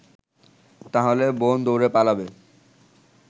তাহলে বোন দৌড়ে পালাবে